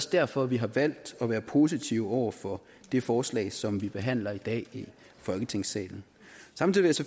derfor vi har valgt at være positive over for det forslag som vi behandler i folketingssalen samtidig